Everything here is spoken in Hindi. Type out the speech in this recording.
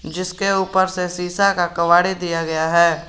जिसके ऊपर से शीशा का कव्वाड़ी दिया गया है।